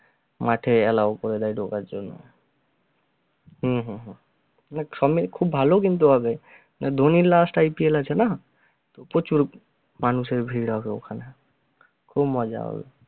মাঠে allow করে দেয় ঢোকার জন্য হম হম হম সবমিলে খুব ভালো কিন্তু হবে ধোনীর last IPL আছে না? প্রচুর মানুষের ভীড় হবে ওখানে, খুব মজা হবে।